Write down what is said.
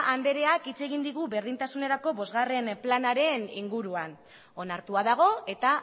andreak hitz egin digu berdintasunerako bostgarren planaren inguruan onartua dago eta